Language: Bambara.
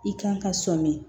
I kan ka sɔmin